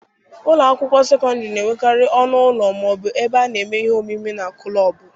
Ụlọ akwụkwọ sekọndịrị na-enwekarị ọnụ ụlọ ma ọ bụ ebe a na-eme ihe omume na kụlọọbụ.